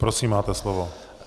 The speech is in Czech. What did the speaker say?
Prosím, máte slovo.